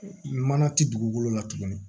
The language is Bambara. Mana ti dugukolo la tuguni